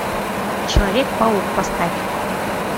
человек паук поставь